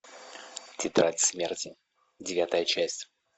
тетрадь смерти девятая часть